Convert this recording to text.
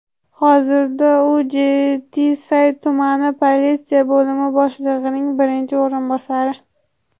Hozirda u Jetisay tumani politsiya bo‘limi boshlig‘ining birinchi o‘rinbosari.